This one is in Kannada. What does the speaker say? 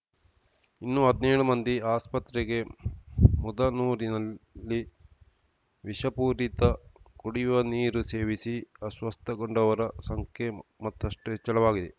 ಇನ್ನೂ ಹದ್ನೇಳು ಮಂದಿ ಆಸ್ಪತ್ರೆಗೆ ಮುದನೂರಿನಲ್ಲಿ ವಿಷಪೂರಿತ ಕುಡಿಯುವ ನೀರು ಸೇವಿಸಿ ಅಸ್ವಸ್ಥಗೊಂಡವರ ಸಂಖ್ಯೆ ಮತ್ತಷ್ಟುಹೆಚ್ಚಳವಾಗಿದೆ